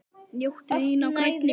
Njóttu þín á grænni grund.